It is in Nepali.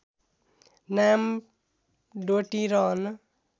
नाम डोटी रहन